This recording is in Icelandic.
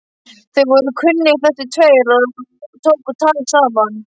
Þeir voru kunnugir þessir tveir og tóku tal saman.